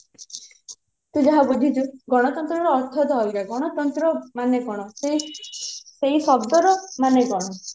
ତୁ ଯାହା ବୁଝିଛୁ ଗଣତନ୍ତ୍ର ର ଅର୍ଥ ଟା ଅଲଗା ଗଣତନ୍ତ୍ର ମାନେ କଣ ସେଇ ଶବ୍ଦ ର ମାନେ କଣ